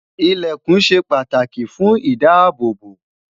ilẹkùn shey pàtàkì fún idaabobo